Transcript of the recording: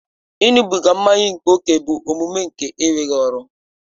Ịṅụbiga mmanya ókè bụ omume nke enweghị ọrụ